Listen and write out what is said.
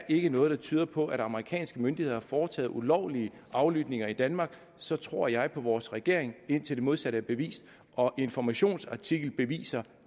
ikke er noget der tyder på at amerikanske myndigheder har foretaget ulovlige aflytninger i danmark så tror jeg på vores regering indtil det modsatte er bevist og informations artikel beviser